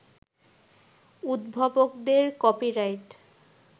উদ্ভাবকদের copyright